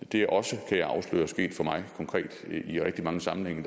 det er også kan jeg afsløre sket for mig konkret i rigtig mange sammenhænge